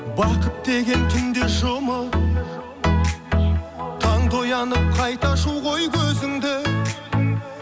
бақыт деген түнде жұмып таңда оянып қайта ашу ғой көзіңді